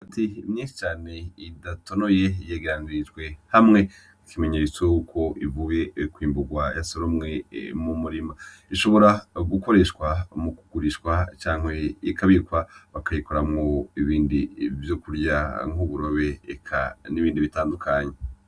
Imyumbati myinshi cane idatonoye yegeranirijwe hamwe nk'ikimenyetso ko ivuye kwimburwa yasoromwe mu murima . Ishobora gukoreshwa mu kugurishwa canke ikabikwa bakayikoramwo ibindi vyokurya nk'uburobe eka n'ibindi bitandukanye.